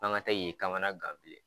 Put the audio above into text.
An ŋa taa k'i kamana gan bilen